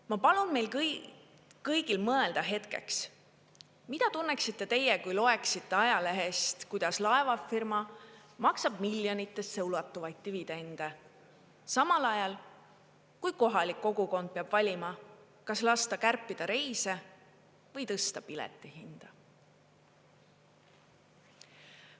Ma palun meil kõigil mõelda hetkeks, mida tunneksite teie, kui loeksite ajalehest, kuidas laevafirma maksab miljonitesse ulatuvaid dividende samal ajal, kui kohalik kogukond peab valima, kas lasta kärpida reise või tõsta piletihinda.